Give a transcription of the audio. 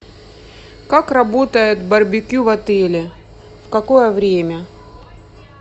как работает барбекю в отеле в какое время